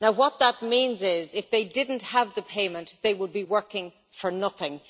What that means is that if they didn't have the payment they would be working for nothing.